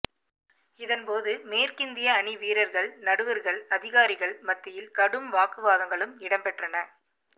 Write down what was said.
இதன் போது மேற்கிந்திய அணிவீரர்கள் நடுவர்கள் அதிகாரிகள் மத்தியில் கடும் வாக்குவாதங்களும் இடம்பெற்றன